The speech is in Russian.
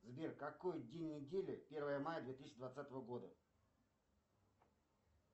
сбер какой день недели первое мая две тысячи двадцатого года